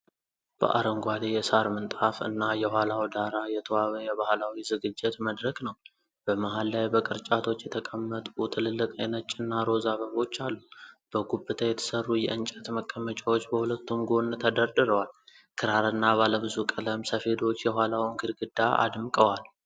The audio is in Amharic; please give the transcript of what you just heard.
በአረንጓዴ የሳር ምንጣፍ እና የኋላ ዳራ የተዋበ የባሕላዊ ዝግጅት መድረክ ነው። በመሃል ላይ በቅርጫቶች የተቀመጡ ትልልቅ የነጭና ሮዝ አበቦች አሉ። በጉብታ የተሰሩ የዕንጨት መቀመጫዎች በሁለቱም ጎን ተደርድረዋል። ክራርና ባለብዙ ቀለም ሰፌዶች የኋላውን ግድግዳ አድምቀዋል።